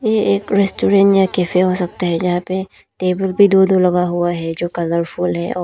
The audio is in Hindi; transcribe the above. ये एक रेस्टोरेंट या कैफे हो सकता है जहां पे टेबल भी दो दो लगा हुआ है जो कलरफुल है और--